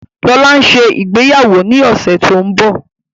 Lọla nṣe ìgbéyàwó ní ọsẹ tó ńbo.